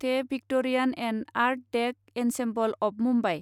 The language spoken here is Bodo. the Victorian and art deco ensemble of Mumbai